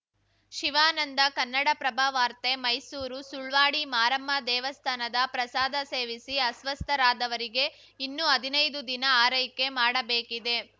ಶಿವಾನಂದ ಕನ್ನಡಪ್ರಭ ವಾರ್ತೆ ಮೈಸೂರು ಸುಳ್ವಾಡಿ ಮಾರಮ್ಮ ದೇವಸ್ಥಾನದ ಪ್ರಸಾದ ಸೇವಿಸಿ ಅಸ್ವಸ್ಥರಾದವರಿಗೆ ಇನ್ನೂ ಹದಿನೈದು ದಿನ ಆರೈಕೆ ಮಾಡಬೇಕಿದೆ